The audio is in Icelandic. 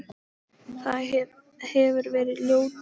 Það hefir verið ljóta veðrið í dag sagði ég.